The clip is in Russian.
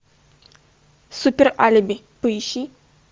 супер алиби поищи